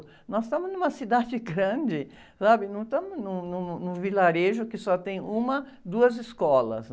Nós estamos numa cidade grande, sabe? Não estamos num, num, num vilarejo que só tem uma, duas escolas.